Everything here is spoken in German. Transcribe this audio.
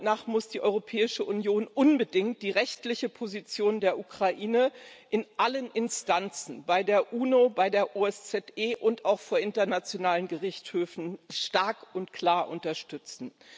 Meiner Meinung nach muss die Europäische Union unbedingt die rechtliche Position der Ukraine in allen Instanzen bei der UNO, bei der OSZE und auch vor internationalen Gerichtshöfen stark und klar unterstützen.